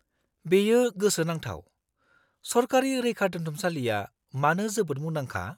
-बेयो गोसोनांथाव। सरकारि रैखादोन्थुमसालिया मानो जोबोद मुंदांखा?